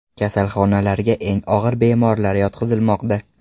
Kasalxonalarga eng og‘ir bemorlar yotqizilmoqda .